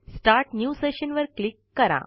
start new session वर click करा